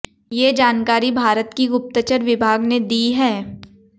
ये जानकारी भारत की गुप्तचर विभाग ने दी है